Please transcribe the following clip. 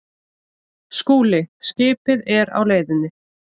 SKÚLI: Skipið er á leiðinni.